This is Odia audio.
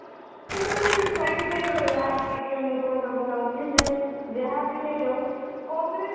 କିନ୍ତୁ ସେ ମୁଁ କହିବାକୁ ଚାହୁଁଛି ଯାହା ବି ହେଇଯାଉ କଂଗ୍ରେସ